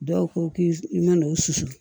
Dɔw ko k'i mana o susu